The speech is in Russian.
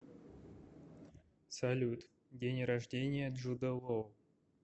салют день рождения джуда лоу